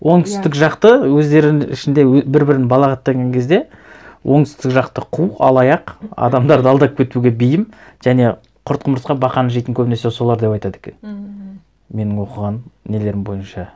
оңтүстік жақты өздерінің ішінде бір бірін балағаттаған кезде оңтүстік жақты қу алаяқ адамдарды алдап кетуге бейім және құрт құмырсқа бақаны жейтін көбінесе солар деп айтады екен мхм менің оқығаным нелерім бойынша